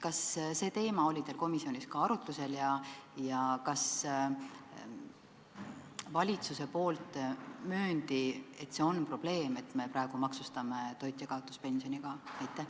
Kas see teema oli teil komisjonis arutlusel ja kas valitsus möönis, et see on probleem, et me praegu maksustame ka toitjakaotuspensioni?